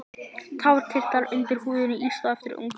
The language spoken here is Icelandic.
Tárakirtlar eru undir húðinni yst á efri augnlokum.